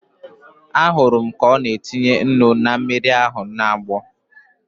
Ahụrụ m ka ọ na-etinye ụnu na mmiri ahu na-agbọ